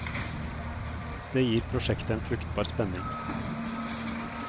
Det gir prosjektet en fruktbar spenning.